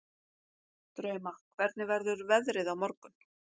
Drauma, hvernig verður veðrið á morgun?